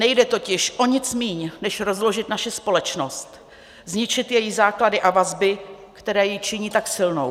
Nejde totiž o nic méně, než rozložit naši společnost, zničit její základy a vazby, které ji činí tak silnou.